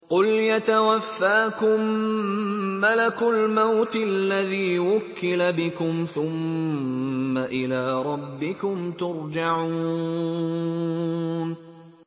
۞ قُلْ يَتَوَفَّاكُم مَّلَكُ الْمَوْتِ الَّذِي وُكِّلَ بِكُمْ ثُمَّ إِلَىٰ رَبِّكُمْ تُرْجَعُونَ